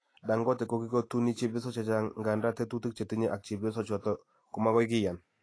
Dangote kokikotuni chebyosok chechang nganda tetutik che tinye ak chepyosok chotok komagoi kiyan.